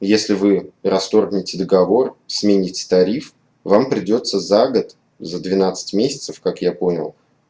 если вы расторгните договор сменить тариф вам придётся за год за двенадцать месяцев как я понял